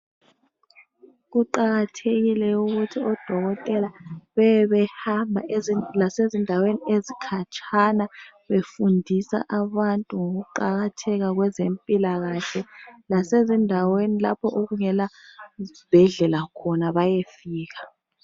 Kuqakathekile ukuthi dokotela bebe behamba ezindaweni ezikhatshana befundisa abantu ukuqakatheka kweze mpilakahle lasezi ndaweni lapho okungela zibhedlela khona bayefika.